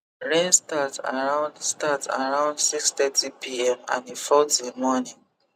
rain start around start around six-thirty pm and e fall till morning